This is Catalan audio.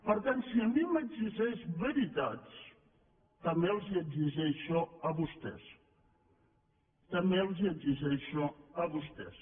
per tant si a mi m’exigeix veritats també els les exigeixo a vostès també els les exigeixo a vostès